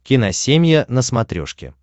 киносемья на смотрешке